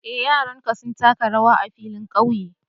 Eh, yaranka sun taka rawar a'filin ƙauye.